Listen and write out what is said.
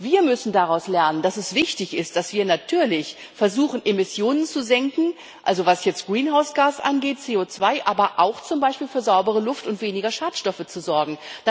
Wir müssen daraus lernen, dass es wichtig ist, dass wir natürlich versuchen, Emissionen zu senken, also was jetzt greenhouse gas CO2 angeht, aber auch, zum Beispiel für saubere Luft und weniger Schadstoffe zu sorgen.